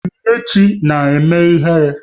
Onyinyechi na-eme ihere